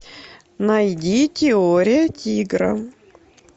найди теория тигра